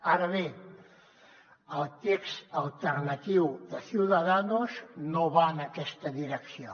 ara bé el text alternatiu de ciudadanos no va en aquesta direcció